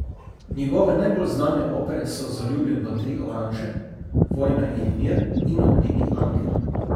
Njegove najbolj znane opere so Zaljubljen v tri oranže, Vojna in mir in Ognjeni angel.